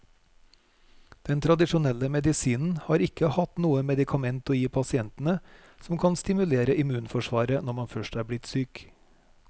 Den tradisjonelle medisinen har ikke hatt noe medikament å gi pasientene som kan stimulere immunforsvaret når man først er blitt syk.